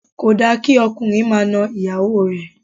Kò dára kí ọkùnrin máa na ìyàwó rẹ̀